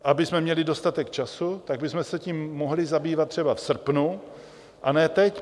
Abychom měli dostatek času, tak bychom se tím mohli zabývat třeba v srpnu, a ne teď.